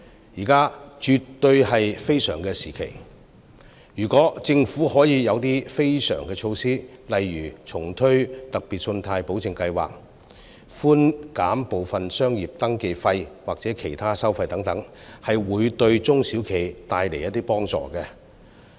現在絕對是非常時期，如果政府可以推出非常措施，例如重推特別信貸保證計劃、寬減部分商業登記費或其他收費等，會對中小企帶來幫助。